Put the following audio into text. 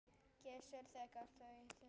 Gissur, þegar ég sagði þetta.